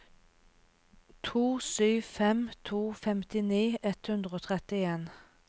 to sju fem to femtini ett hundre og trettien